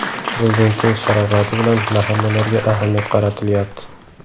Prezidentimiz sharofati bilan mahallalarga ahamiyat qaratilyapti.